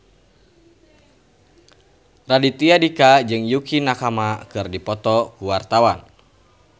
Raditya Dika jeung Yukie Nakama keur dipoto ku wartawan